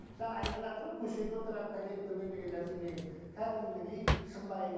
жаңа айтыватыр ғой көшеде отырады пәлен түген деген нәрсе менің кәдімгідей шымбайыма